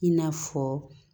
I n'a fɔ